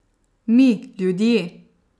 Mi, ljudje.